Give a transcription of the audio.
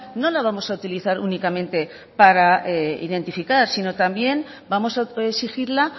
no la vamos a utilizar únicamente para identificar sino también vamos a exigirla